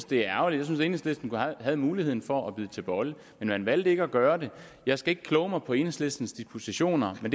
det er ærgerligt enhedslisten havde muligheden for at bide til bolle men man valgte ikke at gøre det jeg skal ikke kloge mig på enhedslistens dispositioner men